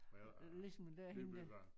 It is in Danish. Hvad hedder det nybygger